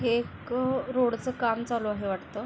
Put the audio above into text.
हे एक रोड चं काम चालू आहे वाटतं.